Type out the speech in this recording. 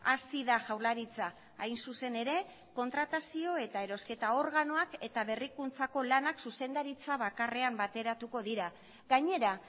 hasi da jaurlaritza hain zuzen ere kontratazio eta erosketa organoak eta berrikuntzako lanak zuzendaritza bakarrean bateratuko dira gainera